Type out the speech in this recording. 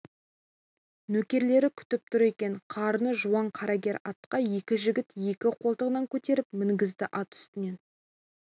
нөкерлері күтіп тұр екен қарны жуан қарагер атқа екі жігіт екі қолтығынан көтеріп мінгізді ат үстінен